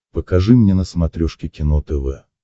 покажи мне на смотрешке кино тв